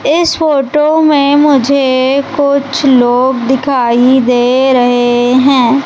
इस फोटो में मुझे कुछ लोग दिखाई दे रहे हैं।